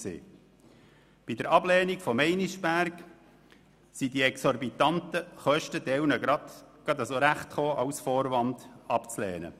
Für die Ablehnung von Meinisberg kamen die exorbitant hohen Kosten einem Teil der Leute als Vorwand gelegen.